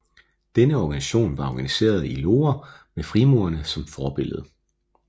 Denne organisation var organiseret i loger med frimurerne som forbillede